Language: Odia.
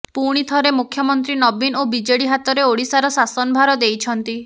ପୁଣିଥରେ ମୁଖ୍ୟମନ୍ତ୍ରୀ ନବୀନ ଓ ବିଜେଡି ହାତରେ ଓଡ଼ିଶାର ଶାସନ ଭାର ଦେଇଛନ୍ତି